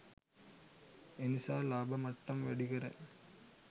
එනිසා ලාභ මට්ටම් වැඩිකර